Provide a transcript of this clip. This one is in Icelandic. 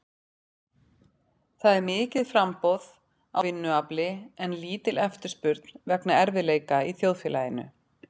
Það er mikið framboð á vinnuafli en lítil eftirspurn vegna erfiðleika í þjóðfélaginu.